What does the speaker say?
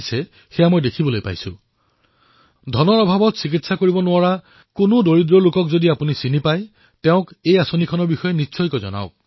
আপোনালোকেও যদি কোনো দুখীয়া পৰিয়ালক জানে যি টকাৰ অভাৱত চিকিৎসা কৰিব পৰা নাই তেওঁক এই যোজনাৰ বিষয়ে অৱগত কৰাওক